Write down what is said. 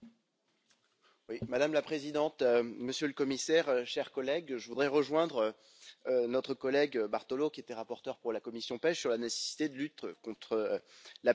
Madame la Présidente, Monsieur le Commissaire, chers collègues, je voudrais rejoindre notre collègue Bartolo, qui était rapporteur pour la commission PECH, sur la nécessité de lutter contre la pêche illégale.